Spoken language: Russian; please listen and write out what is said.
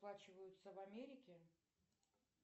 оплачиваются в америке